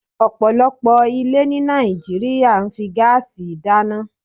ọ̀pọ̀lọpọ̀ ilé ní Nàìjíríà fi ń gáásì dáná.